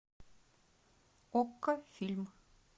окко фильм